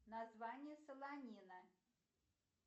название солонина